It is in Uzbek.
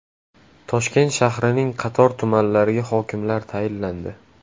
Toshkent shahrining qator tumanlariga hokimlar tayinlandi.